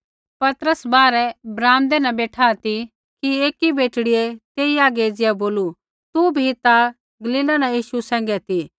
पतरस बाहरै ब्राम्दै न बेठा ती कि एकी बेटड़ियै तेई हागै एज़िया बोलू तू बी ता गलीला न यीशु सैंघै ती